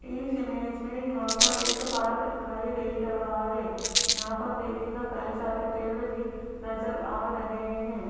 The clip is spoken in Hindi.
इस इमेज में यहां पर एक पार्क दिखाई दे रहा है यहां पर देखिएगा कई सारे पेड़ भी नजर आ रहे हैं।